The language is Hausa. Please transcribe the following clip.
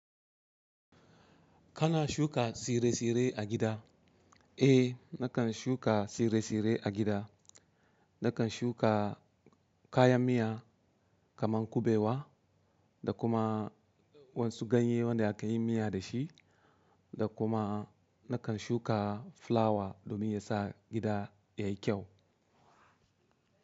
Kana shuka tsire-tsire a gida? Eh, nakan shuka tsire-tsire a gida. Nakan shuka kayan miya kamar kuɓewa da kuma wasu ganye wanda aka yi miya da shi, da kuma nakan shuka fulawa domin ya sa gida yayi kyau.